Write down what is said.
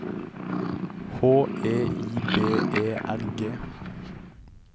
H E I B E R G